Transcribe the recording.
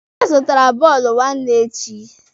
Ha zụtara bọọlụ nwanne echi.